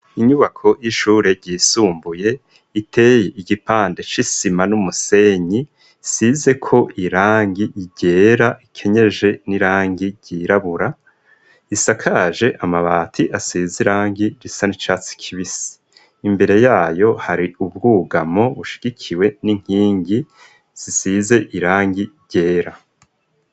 Inyubako y'ishure ryisumbuye, iteye igipande c'isima n'umusenyi, isizeko irangi ryera, ikenyeje n'irangi ryirabura, isakaje amabati asize irangi risa ni catsi kibisi, imbere yayo hari ubwugamo bushigikiwe n'inkingi zisize irangi ryera.